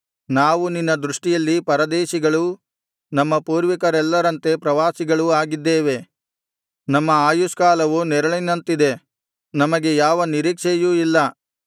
ನಾವು ನಿನ್ನ ದೃಷ್ಟಿಯಲ್ಲಿ ಪರದೇಶಿಗಳೂ ನಮ್ಮ ಪೂರ್ವಿಕರೆಲ್ಲರಂತೆ ಪ್ರವಾಸಿಗಳೂ ಆಗಿದ್ದೇವೆ ನಮ್ಮ ಆಯುಷ್ಕಾಲವು ನೆರಳಿನಂತಿದೆ ನಮಗೆ ಯಾವ ನಿರೀಕ್ಷೆಯೂ ಇಲ್ಲ